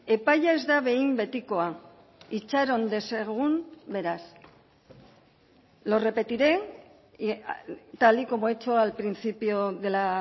epaia ez da behin betikoa itxaron dezagun beraz lo repetiré tal y como he hecho al principio de la